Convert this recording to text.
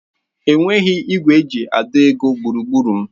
Enweghị igwe eji àdọ́ ego gburugburu m.